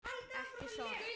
Ekki sorg.